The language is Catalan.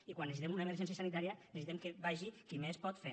i quan necessitem una emergència sanitària necessitem que hi vagi qui més pot fer